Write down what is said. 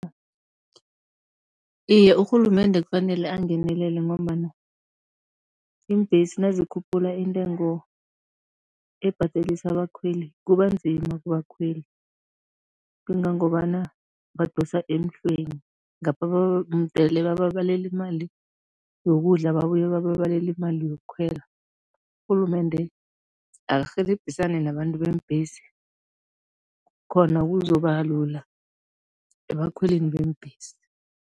Iye, urhulumende kufanele angenelele ngombana iimbhesi nazikhuphula intengo ebhadelisa abakhweli, kubanzima kubakhweli kangangobana badosa emhlweni, ngapha mudele bababalele imali yokudla, babuye bababalele imali yokukhwela, urhulumende akarhelebhisane nabantu beembhesi, khona kuzoba lula ebakhweleni beembhesi.